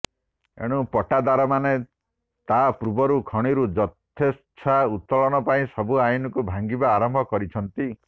ଏଣୁ ପଟ୍ଟାଦାରମାନେ ତା ପୂର୍ବରୁ ଖଣିରୁ ଯଥେଚ୍ଛା ଉତ୍ତୋଳନ ପାଇଁ ସବୁ ଆଇନକୁ ଭାଙ୍ଗିବା ଆରମ୍ଭ କରିଛନ୍ତି